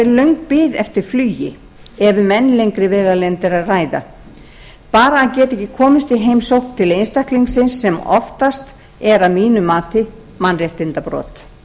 löng bið eftir flugi ef um enn lengri vegalengd er að ræða bara að geta ekki komist í heimsókn til einstaklingsins sem oftast er að mínu mati mannréttindabrot